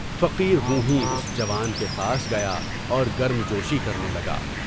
فقیر وہ ہیں اُس جوان کے پاس گیا اور گرم جوشی کرنے لگا۔